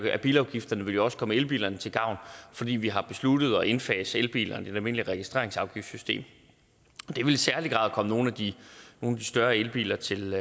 er af bilafgifterne vil jo også komme elbilerne til gavn fordi vi har besluttet at indfase elbilerne i det almindelige registreringsafgiftssystem det vil i særlig grad komme nogle af de større elbiler til